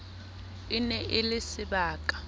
e ne e le sebaka